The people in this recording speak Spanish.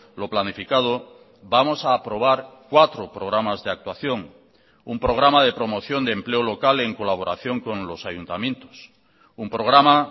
lo planificado vamos a aprobar cuatro programas de actuación un programa de promoción de empleo local en colaboración con los ayuntamientos un programa